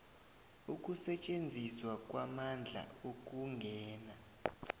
ukusetjenziswa kwamandla ukungena